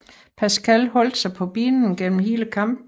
Pascal holdt sig på benene gennem hele kampen